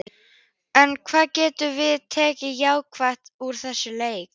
En hvað getum við tekið jákvætt úr þessum leik?